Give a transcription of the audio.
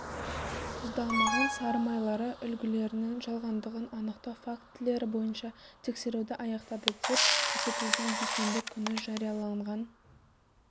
тұздалмаған сары майлары үлгілерінің жалғандығын анықтау фактілері бойынша тексеруді аяқтады деп көрсетілген дүйсенбі күні жарияланған